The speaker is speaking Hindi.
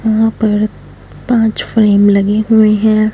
यहां पर पांच फ्रेम लगे हुएं हैं।